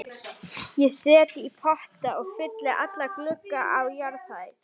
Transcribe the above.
Ég set í potta og fylli alla glugga á jarðhæð.